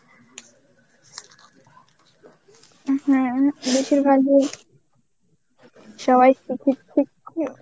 হম বেশিরভাগ ই সবাই